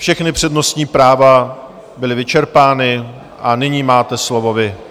Všechna přednostní práva byla vyčerpána a nyní máte slovo vy.